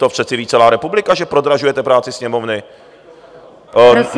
To přece ví celá republika, že prodražujete práci Sněmovny.